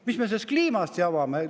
" Mis me selle kliimaga jamame?!